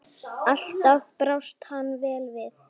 Alltaf brást hann vel við.